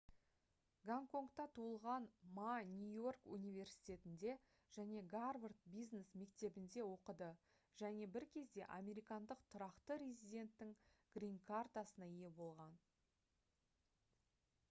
гонконгта туылған ма нью-йорк университетінде және гарвард бизнес мектебінде оқыды және бір кезде американдық тұрақты резиденттің «гринкартасына» ие болған